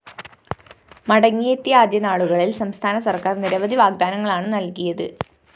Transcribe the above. മടങ്ങിയെത്തിയ ആദ്യനാളുകളില്‍ സംസ്ഥാന സര്‍ക്കാര്‍ നിരവധി വാഗ്ദാനങ്ങളാണ് നല്‍കിയത്